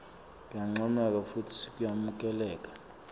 kuyancomeka futsi kuyemukeleka